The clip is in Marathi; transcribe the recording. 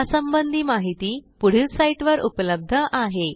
यासंबंधी माहिती पुढील साईटवर उपलब्ध आहे